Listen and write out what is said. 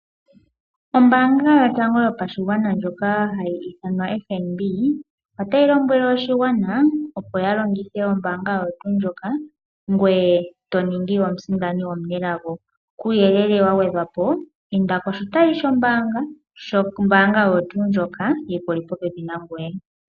Ombaanga yotango yopshigwana ndjono hayi ithanwa FNB , otayi lombwele oshigwana opo ya longithe ombaanga oyo tuu ndjoka ngoye toningi omusindani omunelago . Kuuyelele wagwedhwapo inda koshitayi shombaanga oyo tuu ndjoka yikuli popepi nangoye.